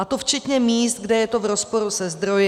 A to včetně míst, kde je to v rozporu se zdroji.